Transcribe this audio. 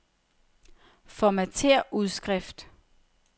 Formatér udskrift.